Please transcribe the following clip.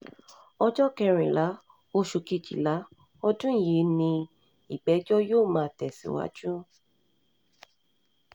ọjọ́ um kẹrìnlá oṣù kejìlá ọdún yìí ni ìgbẹ́jọ́ yóò máa tẹ̀síwájú um